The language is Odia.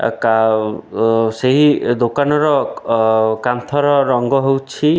ଆ କାଉ ସେହି ଦୋକାନର ଅ କାନ୍ଥର ରଙ୍ଗ ହଉଛି --